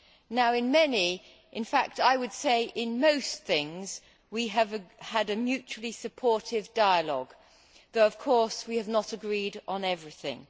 Now, in many in fact, I would say in most things, we have had a mutually supportive dialogue, Commissioner, though of course we have not agreed on everything.